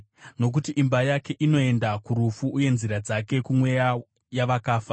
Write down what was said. Nokuti imba yake inoenda kurufu, uye nzira dzake kumweya yavakafa.